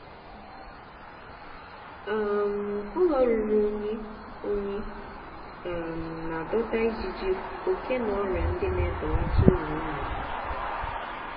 um ụlọ ruru unyi unyi um na-adọta ijiji oke na ọrịa ndị na-ebelata uru nnụnụ.